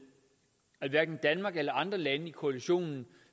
at hverken danmark eller andre lande i koalitionen